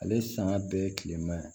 Ale sanga bɛ tilema yan